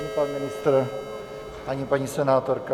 Ani pan ministr, ani paní senátorka.